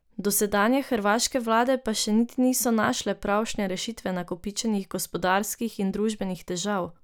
Dosedanje hrvaške vlade pa še niso našle pravšnje rešitve nakopičenih gospodarskih in družbenih težav.